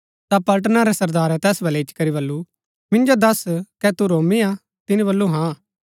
ता पलटना रै सरदारै तैस बलै इच्ची करी बल्लू मिन्जो दस्स कै तू रोमी हा तिनी बल्लू हाँ